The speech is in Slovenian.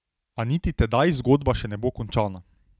A niti tedaj zgodba še ne bo končana.